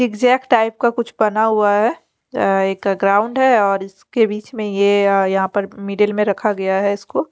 Zig zag type का कुछ बना हुआ है एक ग्राउंड है और इसके बीच में ये यहां पर मीडिल में रखा गया है इसको।